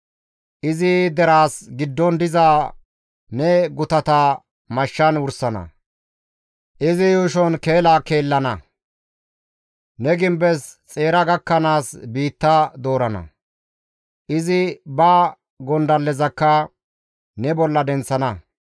Izi deraas giddon diza ne gutata mashshan wursana; izi yuushon keela keelana; ne gimbes xeera gakkanaas biitta doorana; izi ba gondallezakka ne bolla denththana.